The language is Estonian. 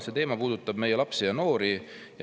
See teema puudutab meie lapsi ja noori.